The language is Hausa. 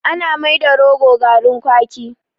Ana mai da rogo garrin kwaki